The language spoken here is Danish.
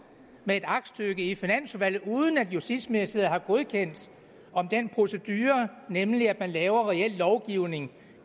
med et aktstykke i finansudvalget uden at justitsministeriet har godkendt den procedure nemlig at man laver reel lovgivning